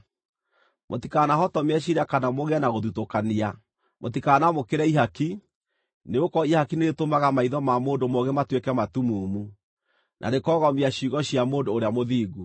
Mũtikanahotomie ciira kana mũgĩe na gũthutũkania. Mũtikanamũkĩre ihaki, nĩgũkorwo ihaki nĩrĩtũmaga maitho ma mũndũ mũũgĩ matuĩke matumumu, na rĩkoogomia ciugo cia mũndũ ũrĩa mũthingu.